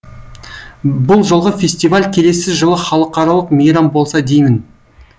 бұл жолғы фестиваль келесі жылы халықаралық мейрам болса деймін